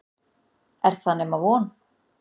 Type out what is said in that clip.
Er það nema von?